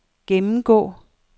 gennemgå